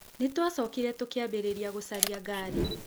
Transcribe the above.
Nĩ twacokire tũkĩambĩrĩria gũcaria ngari .